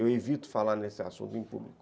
Eu evito falar nesse assunto em público.